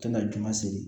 To ka juma seri